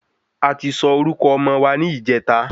A ti sọ orúkọ ọmọ wa ni ìjèta